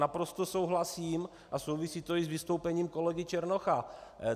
Naprosto souhlasím, a souvisí to i s vystoupením kolegy Černocha.